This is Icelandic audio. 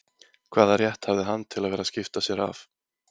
Hvaða rétt hafði hann til að vera að skipta sér af